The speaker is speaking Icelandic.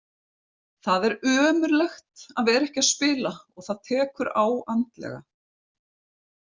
Það er ömurlegt að vera ekki að spila og það tekur á andlega.